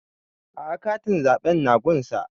A'a katin zaɓe na gun sa